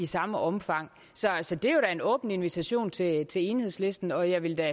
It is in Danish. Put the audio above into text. samme omfang så det er en åben invitation til til enhedslisten og jeg vil da